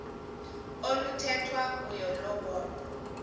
oluthethwa kuyo lobonwa